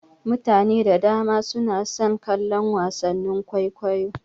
Mutane da dama suna son kallon wasannin kwaikwayo.